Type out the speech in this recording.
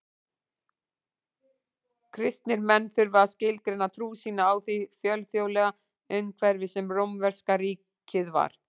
Kristnir menn þurftu að skilgreina trú sína í því fjölþjóðlega umhverfi sem rómverska ríkið var.